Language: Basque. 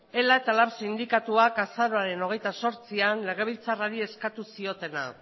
ela eta lab sindikatuak azaroaren hogeita zortzian legebiltzarrari eskatu ziotena